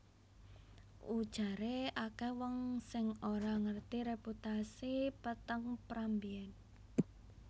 Ujaré akèh wong sing ora ngerti reputasi peteng Pram mbiyèn